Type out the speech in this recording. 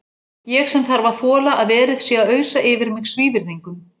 Ég sem þarf að þola að verið sé að ausa yfir mig svívirðingum.